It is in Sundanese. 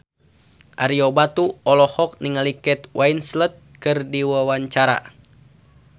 Ario Batu olohok ningali Kate Winslet keur diwawancara